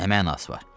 Nə mənası var?